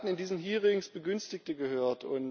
Wir haben in diesen Hearings Begünstigte gehört.